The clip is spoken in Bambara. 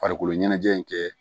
Farikolo ɲɛnajɛ in kɛ